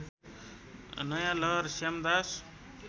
नयाँ लहर श्यामदास